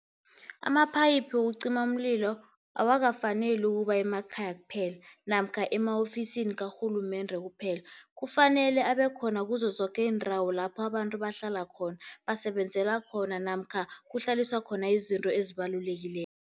Amaphayiphu wokucima umlilo awakafaneli ukuba emakhaya kuphela namkha ema-ofisini karhulumende kuphela. Kufanele abe khona kuzo zoke iindawo lapho abantu bahlala khona, basebenzela khona namkha kuhlaliswa khona izinto ezibalulekileko.